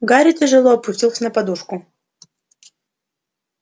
гарри тяжело опустился на подушку